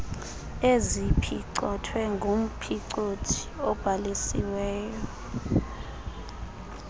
eziphicothwe ngumphicothi obhalisiweyo